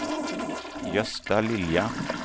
Gösta Lilja